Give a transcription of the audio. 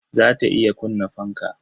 Za ta iya kunna fanka?